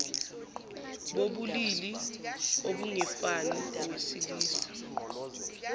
bobulili obungefani owesilisa